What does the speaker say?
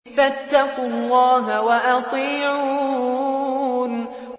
فَاتَّقُوا اللَّهَ وَأَطِيعُونِ